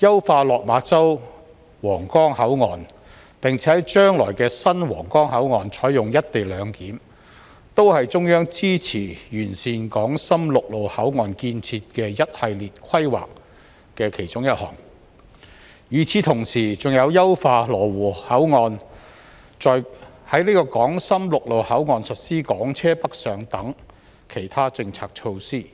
優化落馬洲/皇崗口岸，並且在將來的新皇崗口岸採用"一地兩檢"，均是中央支持完善港深陸路口岸建設的一系列規劃的其中一項，與此同時，還有優化羅湖口岸、在港深陸路口岸實施"港車北上"等其他政策措施。